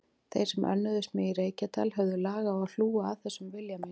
Þeir sem önnuðust mig í Reykjadal höfðu lag á að hlúa að þessum vilja mínum.